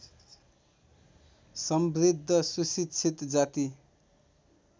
समृद्ध सुशिक्षित जाति